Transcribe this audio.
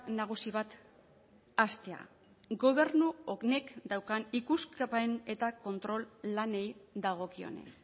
nagusi bat hastea gobernu honek daukan ikuskapen eta kontrol lanei dagokionez